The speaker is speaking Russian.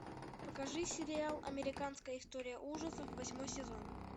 покажи сериал американская история ужасов восьмой сезон